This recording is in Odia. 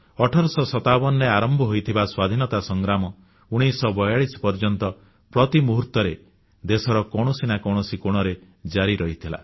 1857ରେ ଆରମ୍ଭ ହୋଇଥିବା ସ୍ୱାଧୀନତା ସଂଗ୍ରାମ 1942 ପର୍ଯ୍ୟନ୍ତ ପ୍ରତି ମୁହୂର୍ତ୍ତରେ ଦେଶର କୌଣସି ନା କୌଣସି କୋଣରେ ଜାରି ରହିଥିଲା